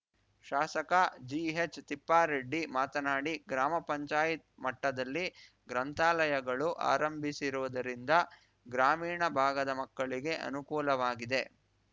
ಶಾಸಕ ಜಿಹೆಚ್‌ತಿಪ್ಪಾರೆಡ್ಡಿ ಮಾತನಾಡಿ ಗ್ರಾಮ ಪಂಚಾಯತ್ ಮಟ್ಟದಲ್ಲಿ ಗ್ರಂಥಾಲಯಗಳು ಆರಂಭಿಸಿರುವುದರಿಂದ ಗ್ರಾಮೀಣ ಭಾಗದ ಮಕ್ಕಳಿಗೆ ಅನುಕೂಲವಾಗಿದೆ